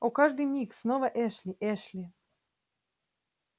о каждый миг снова эшли эшли